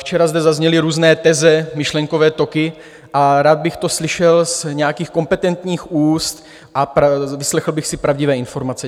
Včera zde zazněly různé teze, myšlenkové toky, a rád bych to slyšel z nějakých kompetentních úst a vyslechl bych si pravdivé informace.